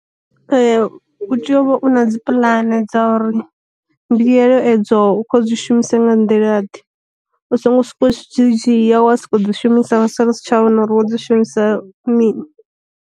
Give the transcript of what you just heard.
U tea u vha u na dzi puḽane dza uri, mbuyelo edzo u kho dzi shumisa nga nḓila ḓe, u songo soko dzhia wa soko dzi shumisa wa sala u si tsha vhona uri wo dzi shumisa mini.